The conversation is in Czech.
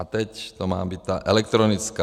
A teď to má být ta elektronická.